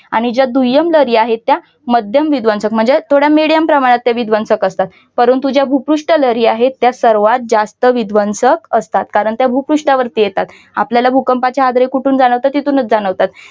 आणि ज्या दुय्यम लहरी आहेत त्या मध्यम विध्वंसक म्हणजे थोड्या medium प्रमाणात त्या विध्वंसक असतात. परंतु ज्या भूपृष्ट लहरी आहेत त्यात सर्वात जास्त विध्वंसक असतात. कारण त्या भूपृष्ठावरती येतात. आपल्याला भूकंपाचे हादरे कुठून जाणवतात. तिथूनच जाणवतात.